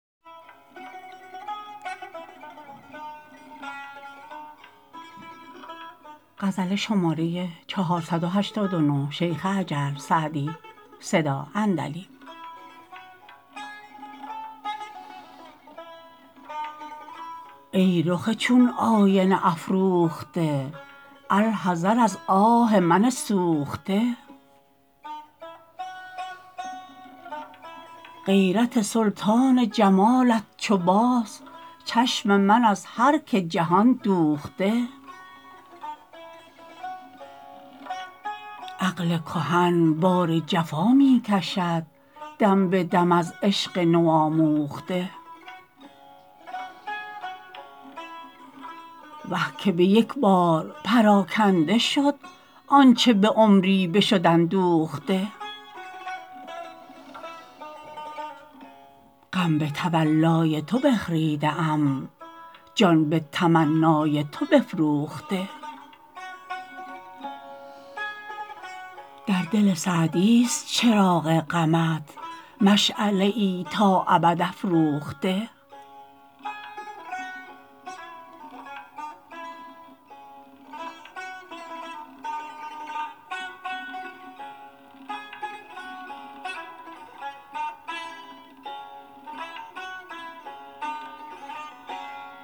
ای رخ چون آینه افروخته الحذر از آه من سوخته غیرت سلطان جمالت چو باز چشم من از هر که جهان دوخته عقل کهن بار جفا می کشد دم به دم از عشق نوآموخته وه که به یک بار پراکنده شد آنچه به عمری بشد اندوخته غم به تولای تو بخریده ام جان به تمنای تو بفروخته در دل سعدیست چراغ غمت مشعله ای تا ابد افروخته